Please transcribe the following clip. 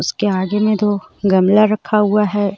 उसके आगे में दो गमला रखा हुआ है.